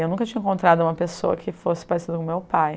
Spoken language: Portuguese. Eu nunca tinha encontrado uma pessoa que fosse parecida com meu pai.